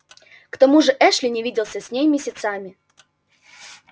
к тому же эшли не виделся с ней месяцами